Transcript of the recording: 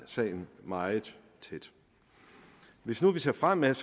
sagen meget tæt hvis nu vi ser fremad